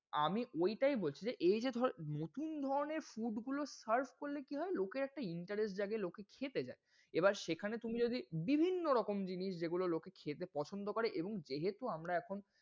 আমি ওইটায় বলছি, যে এই যে ধর নতুন ধরনের food গুলো serve করলে কি হয় লোকের একটা interest জাগে লোকে খেতে যায়। এবার সেখানে তুমি যদি বিভিন্ন রকম জিনিস যদি যেগুলো লোকে খেতে পছন্দ করে এবং যেহেতু আমরা এখন,